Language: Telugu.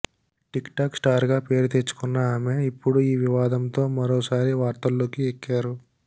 టిక్టాక్ స్టార్గా పేరు తెచ్చుకున్న ఆమె ఇప్పుడు ఈ వివాదంతో మరోసారి వార్తల్లోకి ఎక్కారు